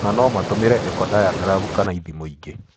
Ona no matũmĩre echodiagram kana ithimo ingĩ.